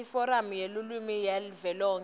iforamu yelulwimi yavelonkhe